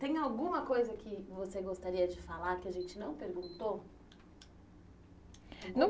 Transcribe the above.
Tem alguma coisa que você gostaria de falar que a gente não perguntou? Não